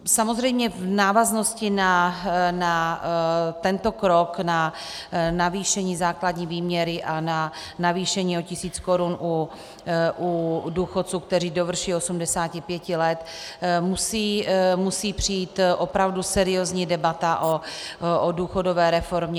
Samozřejmě v návaznosti na tento krok, na navýšení základní výměry a na navýšení o tisíc korun u důchodců, kteří dovrší 85 let, musí přijít opravdu seriózní debata o důchodové reformě.